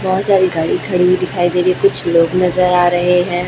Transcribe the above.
बहोत सारी गाड़ी खड़ी हुई दिखाई दे रही है कुछ लोग नजर आ रहे हैं।